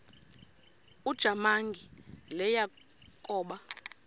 ujamangi le yakoba